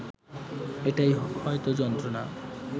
এটাই হয়ত যন্ত্রনা